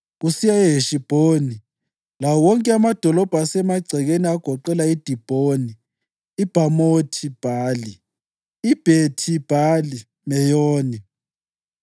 kusiya eHeshibhoni lawo wonke amadolobho asemagcekeni agoqela iDibhoni, iBhamothi-Bhali, iBhethi-Bhali-Meyoni,